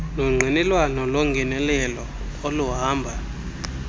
nongqinelwano longenelelo oluhamba